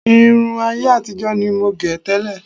Irun ayé àtijọ́ ni mo gẹ̀ tẹ́lẹ̀